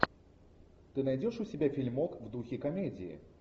ты найдешь у себя фильмок в духе комедии